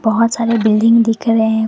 बहोत सारे बिल्डिंग दिख रहे--